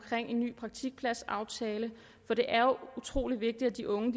en ny praktikpladsaftale for det er jo utrolig vigtigt at de unge